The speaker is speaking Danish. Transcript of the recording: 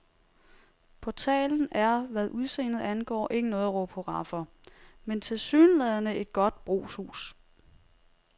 Portalen er, hvad udseendet angår, ikke noget at råbe hurra for, men tilsyneladende et godt brugshus.